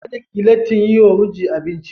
Kada ki yi lattin yi wa mijinki abinci.